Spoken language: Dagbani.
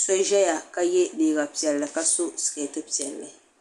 so zɛya ka ye liiga piɛlli ka so sikɛti piɛlli.